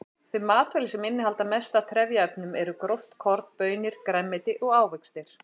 Þau matvæli sem innihalda mest af trefjaefnum eru gróft korn, baunir, grænmeti og ávextir.